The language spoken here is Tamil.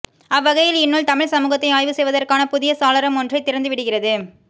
அவ்வகையில் இந்நூல் தமிழ் சமூகத்தை ஆய்வு செய்வதற்கான புதிய சாளரம் ஒன்றைத் திறந்துவிடுகிறது